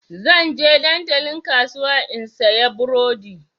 Zan je dandalin kasuwa in sayi burodi.